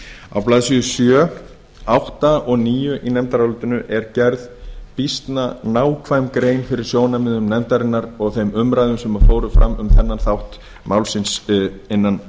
á blaðsíðu sjö átta og níu í nefndarálitinu er gerð býsna nákvæm grein fyrir sjónarmiðum nefndarinnar og þeim umræðum sem fóru fram um þennan þátt málsins innan